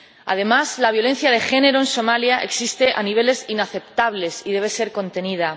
Además, la violencia de género en Somalia existe a niveles inaceptables y debe ser contenida.